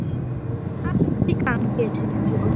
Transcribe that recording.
Gangi þér allt í haginn, Sigurfljóð.